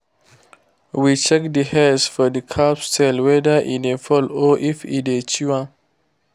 we check the hairs for the calves tail whether e dey fall or if e dey chew am.